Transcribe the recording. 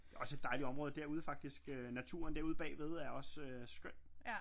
Det er også et dejligt område derude faktisk øh naturen derude bagved er også skøn